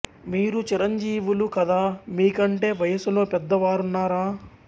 మీరు చిరంజీవులు కదా మీ కంటే వయసులో పెద్ద వారున్నారా